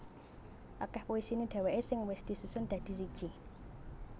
Akeh puisine dheweke sing wis disusun dadi siji